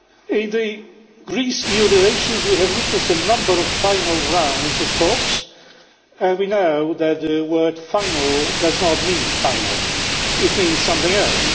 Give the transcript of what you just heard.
In Greece EU relations we have witnessed a number of final rounds of talks, and we know that the word final' does not mean final it means something else.